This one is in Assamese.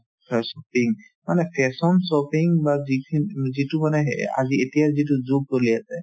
shopping মানে fashion shopping বা যিখিন~ যিটো মানে এহ আজি এতিয়া যিটো যুগ চলি আছে